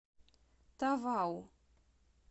тавау